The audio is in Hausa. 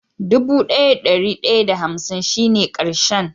Dubu daya da dari daya da hansin shi ne karshen.